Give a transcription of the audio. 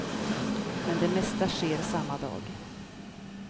Men det mesta sker samma dag.